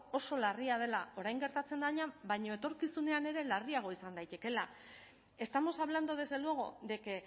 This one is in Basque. oso larria dela orain gertatzen dena baina etorkizunean ere larriagoa izan daitekeela estamos hablando desde luego de que